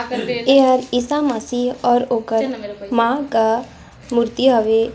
एहा ईहा मसीह और ओकर मा का मूर्ति हावे।